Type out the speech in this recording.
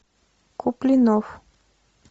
куплинов